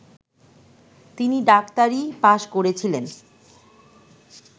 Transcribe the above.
তিনি ডাক্তারি পাশ্ করেছিলেন